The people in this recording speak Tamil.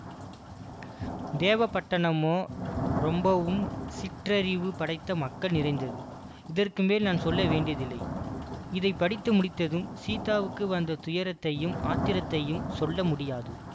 தேவபட்டணமோ ரொம்பவும் சிற்றறிவு படைத்த மக்கள் நிறைந்தது இதற்குமேல் நான் சொல்ல வேண்டியதில்லை இதை படித்து முடித்ததும் சீதாவுக்கு வந்த துயரத்தையும் ஆத்திரத்தையும் சொல்ல முடியாது